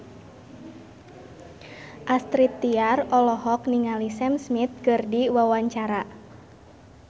Astrid Tiar olohok ningali Sam Smith keur diwawancara